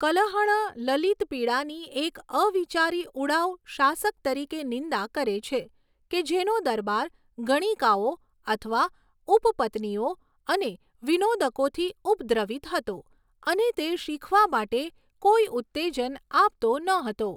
કલહણ લલિતપીડાની એક અવિચારી ઉડાઉ શાસક તરીકે નિંદા કરે છે, કે જેનો દરબાર ગણિકાઓ અથવા ઉપપત્નીઓ અને વિનોદકોથી ઉપદ્રવીત હતો અને તે શીખવા માટે કોઈ ઉત્તેજન આપતો ન હતો.